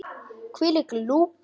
Hvílík lúka!